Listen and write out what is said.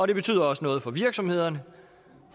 det betyder også noget for virksomhederne